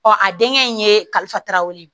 a denkɛ in ye kalifa taraw ye